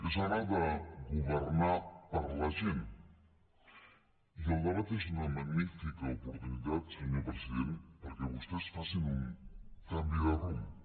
és hora de governar per a la gent i el debat és una magnífica oportunitat senyor president perquè vostès facin un canvi de rumb